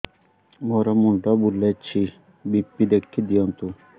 ମୋର ମୁଣ୍ଡ ବୁଲେଛି ବି.ପି ଦେଖି ଦିଅନ୍ତୁ